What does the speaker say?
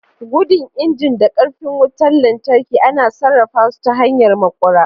Gudun injin da ƙarfin wutar lantarki ana sarrafa su ta hanyar maƙura.